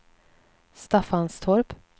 Staffanstorp